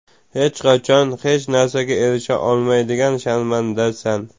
Hech qachon hech narsaga erisha olmaydigan sharmandasan.